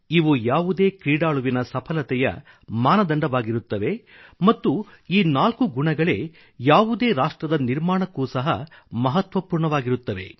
ಇವು ಯಾವುದೇ ಕ್ರೀಡಾಳುವಿನ ಸಫಲತೆಯ ಮಾನದಂಡವಾಗಿರುತ್ತವೆ ಮತ್ತು ಈ ನಾಲ್ಕು ಗುಣಗಳೇ ಯಾವುದೇ ರಾಷ್ಟ್ರದ ನಿರ್ಮಾಣಕ್ಕೂ ಸಹ ಮಹತ್ವಪೂರ್ಣವಾಗಿರುತ್ತವೆ